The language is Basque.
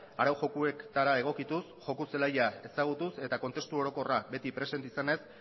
arau jokoetara egokituz joko zelaia ezagutuz eta kontestu orokorra beti presente izanez